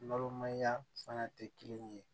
Balimanya fana tɛ kelen ye